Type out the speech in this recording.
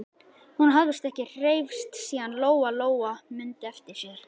Hún hafði ekki hreyfst síðan Lóa-Lóa mundi eftir sér.